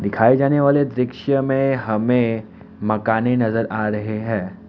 दिखाए जाने वाले दृश्य में हमें मकाने नजर आ रहे हैं।